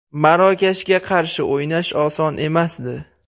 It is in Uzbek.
Marokashga qarshi o‘ynash oson emasdi.